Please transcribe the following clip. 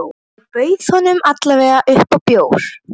En ég bauð honum alla vega upp á bjór.